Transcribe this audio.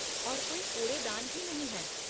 और कोई कूड़ेदान भी नहीं हैं।